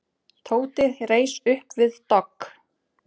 Tóti reis upp við dogg.